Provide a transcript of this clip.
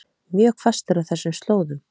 Mjög hvasst er á þessum slóðum